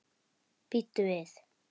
Bíddu við.